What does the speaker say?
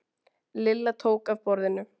Lilla tók af borðinu.